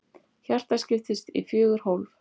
Hjartað skiptist í fjögur hólf.